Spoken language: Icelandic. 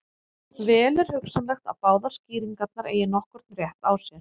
Vel er hugsanlegt að báðar skýringarnar eigi nokkurn rétt á sér.